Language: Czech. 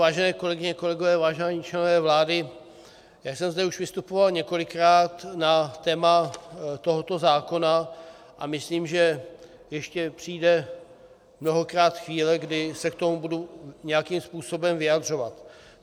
Vážené kolegyně, kolegové, vážení členové vlády, já jsem zde už vystupoval několikrát na téma tohoto zákona a myslím, že ještě přijde mnohokrát chvíle, kdy se k tomu budu nějakým způsobem vyjadřovat.